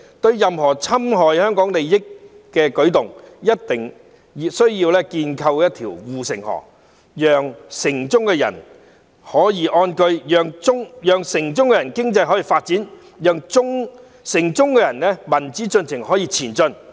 對任何侵害香港利益的舉動，一定需要建構一條護城河，讓城中的人可以安居，讓城中的經濟可以發展，讓城中的民主進程可以前進。